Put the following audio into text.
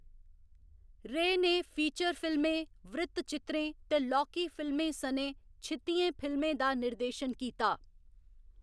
रे ने फीचर फिल्में, वृत्तचित्रें ते लौह्‌‌की फिल्में सनै छित्तिएं फिल्में दा निर्देशन कीता।